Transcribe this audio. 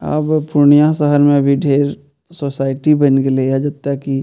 आब पूर्णिया शहर में भी ढेर सोसाइटी बैएन गेले ये जेता की --